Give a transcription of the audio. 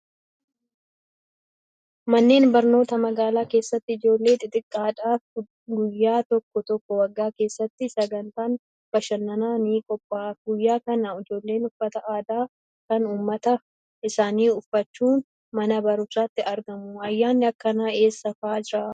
Manneen barnootaa magaalaa keessatti ijoollee xixiqqoodhaaf guyyaa tokko tokko waggaa keessatti sagantaan bashannanaa ni qophaa'aaf. Guyyaa kana ijoolleen uffata aadaa kan uummata isaanii uffachuun mana barumsaatti argamu. Ayyaanni akkanaa eessa fa'aa jiraa?